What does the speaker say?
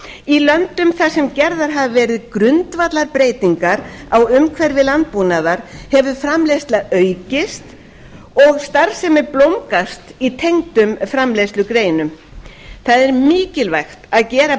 í löndum þar sem gerðar hafa verið grundvallarbreytingar á umhverfi landbúnaðar hefur framleiðsla aukist og starfsemi blómgast í tengdum framleiðslugreinum það er mikilvægt að gera